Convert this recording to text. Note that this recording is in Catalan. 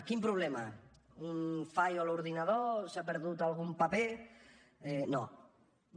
quin problema un fallo a l’ordinador s’ha perdut algun paper no no